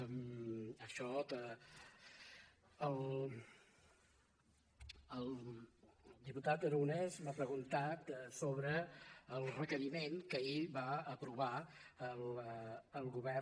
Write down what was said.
el diputat aragonès m’ha preguntat sobre el requeriment que ahir va aprovar el govern